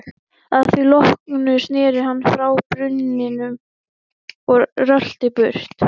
Að því loknu sneri hann frá brunninum og rölti burt.